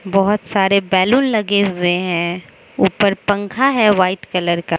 बहोत सारे बैलून लगे हुए हैं ऊपर पंखा है वाइट कलर का --